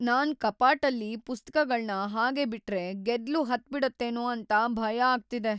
ನಾನ್ ಕಪಾಟಲ್ಲಿ ಪುಸ್ತಕಗಳ್ನ ಹಾಗೇ ಬಿಟ್ರೆ ಗೆದ್ಲು ಹತ್ಬಿಡತ್ತೇನೋ ಅಂತ ಭಯ ಆಗ್ತಿದೆ.